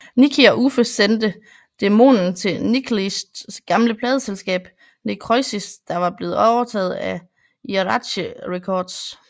Nicke og Uffe sendte demoen til Nihilists gamle pladeselskab Necrosis der var blevet overtaget af Earache Records